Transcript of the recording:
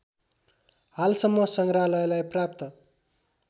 हालसम्म सङ्ग्रहालयलाई प्राप्त